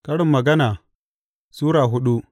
Karin Magana Sura hudu